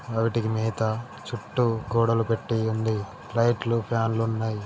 వాటికీ మేత చుట్టూ గోడలు కట్టి ఉంది. లైట్లు ఫాన్స్ ఉన్నాయి .